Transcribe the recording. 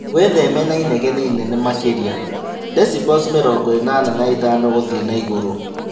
Wĩtheme na inegene inene makĩria ( debicels mĩrongo ĩnana na ithano gũthiĩ na igũrũ)